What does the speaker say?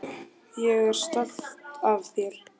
Ég er stolt af þér.